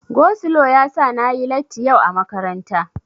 Go slo yasa na yi latti yau a makaranta.